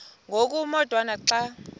ngoku umotwana xa